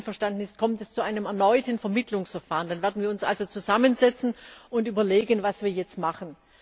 Wenn er nicht einverstanden ist, kommt es zu einem erneuten Vermittlungsverfahren. Dann werden wir uns also zusammensetzen und überlegen, was wir jetzt machen.